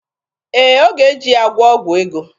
Ee, ọ ga-eji ya gwụọ ọgwụ ego.